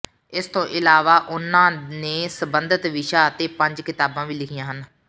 ਇਸ ਤੋਂ ਇਲਾਵਾ ਉਨ੍ਹਾਂ ਨੇ ਸੰਬੰਧਤ ਵਿਸ਼ਾ ਤੇ ਪੰਜ ਕਿਤਾਬਾਂ ਵੀ ਲਿਖੀਆਂ ਹਨ